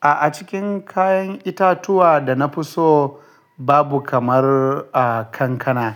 A'a, cikin kayan itatuwa da na fi so babu kamar, kankana.